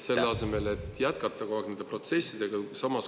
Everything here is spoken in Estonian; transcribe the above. … selle asemel, et jätkata kogu aeg nende protsessidega.